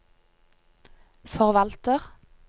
forvalter